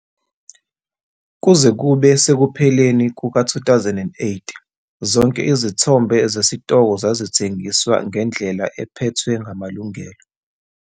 Kuze kube sekupheleni kuka-2008 zonke izithombe zesitoko zazithengiswa ngendlela ephethwe ngamalungelo.